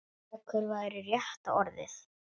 Dekur væri rétta orðið.